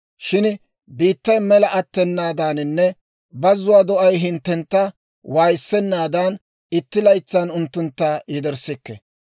Shin biittay mela attenaadaaninne bazuwaa do'ay hinttentta waayissenaadan, itti laytsaan unttuntta yederssikke.